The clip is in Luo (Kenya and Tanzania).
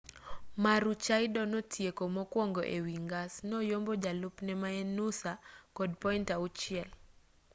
maroochydore notieko mokwongo ewi ngas noyombo jalupne maen noosa kod point auchiel